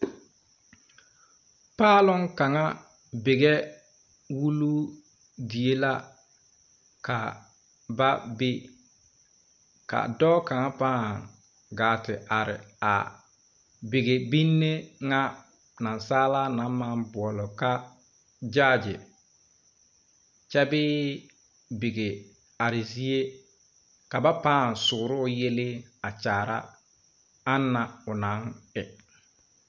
Paalong kaŋa bigɛ wuluu die la ka ba be ka dɔɔ kaŋa pãã gaa te are a bige binne ŋa naasaalaa naŋ maŋ boɔle ka gyaagyi kyɛ bee bige are zie ka ba paŋ sooroo yele a kyaara a anaŋ o naŋ e.